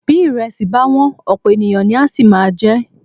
Bí ìrẹsì bá wọ́n, ọ̀pọ̀ ènìyàn ni á sì máa jẹ ẹ́.